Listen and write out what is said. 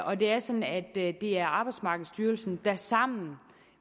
og det er sådan at det er arbejdsmarkedsstyrelsen sammen